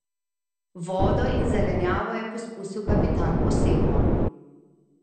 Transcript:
Vodo in zelenjavo je poskusil kapitan osebno.